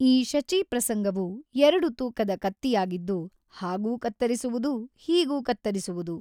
ಈ ಶಚೀಪ್ರಸಂಗವು ಎರಡು ತೂಕದ ಕತ್ತಿಯಾಗಿದ್ದು ಹಾಗೂ ಕತ್ತರಿಸುವುದು ಹೀಗೂ ಕತ್ತರಿಸುವುದು.